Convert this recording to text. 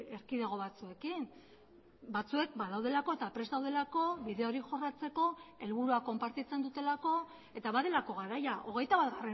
erkidego batzuekin batzuek badaudelako eta prest daudelako bide hori jorratzeko helburua konpartitzen dutelako eta badelako garaia hogeita bat